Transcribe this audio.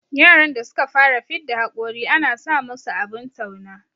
Yaran da suka fara fidda hakori ana sa musu abin tauna